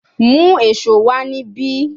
Mu eso wa nibi